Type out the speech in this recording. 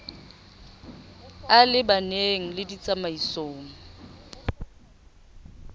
e le baneng le ditsamaiso